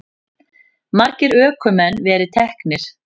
Margir ökumenn verið teknir